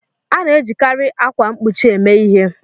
A na-ejikarị akwa mkpuchi eme ihe.